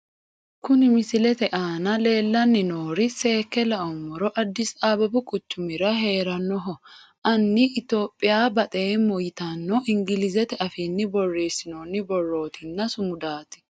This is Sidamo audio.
Kuni misilete aana leelanni nooeri seeke lau'moro addis ababu quchumira heeranoho anni Ethiopia baxeemo yittanno ingilizete afiinni boreesinonni borootinna sumudaati